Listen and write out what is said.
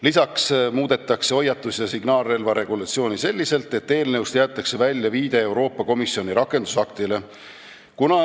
Lisaks muudetakse hoiatus- ja signaalrelva regulatsiooni selliselt, et eelnõust jäetakse välja viide Euroopa Komisjoni rakendusaktile.